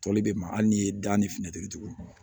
Tɔli bɛ ma hali n'i ye da ni finitigila